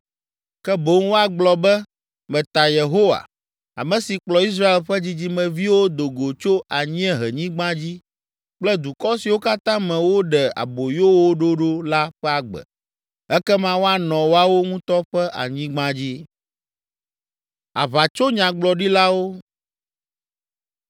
Ke boŋ woagblɔ be, ‘Meta Yehowa, ame si kplɔ Israel ƒe dzidzimeviwo do go tso anyiehenyigba dzi kple dukɔ siwo katã me woɖe aboyo wo ɖo ɖo la ƒe agbe.’ Ekema woanɔ woawo ŋutɔ ƒe anyigba dzi.”